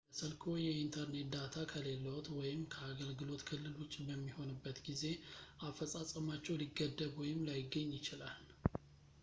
ለስልክዎ የየኢንተርኔት ዳታ ከሌለዎት ወይም ከአገልግሎት ክልል ውጭ በሚሆንበት ጊዜ አፈፃፀማቸው ሊገደብ ወይም ላይገኝ ይችላል